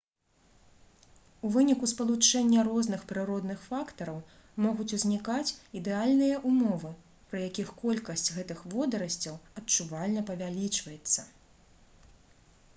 у выніку спалучэння розных прыродных фактараў могуць узнікаць ідэальныя ўмовы пры якіх колькасць гэтых водарасцяў адчувальна павялічваецца